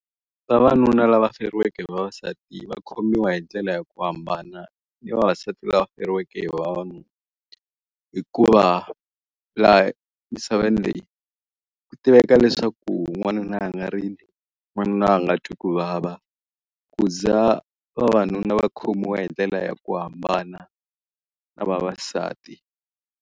Vavanuna lava feriweke hi vavasati va khomiwa hi ndlela ya ku hambana ni vavasati lava feriweke hi vavanuna. Hikuva laha misaveni leyi, ku tiveka leswaku n'wanuna a nga rili, n'wanuna a nga twi ku vava. Ku za vavanuna va khomiwa hi ndlela ya ku hambana na vavasati.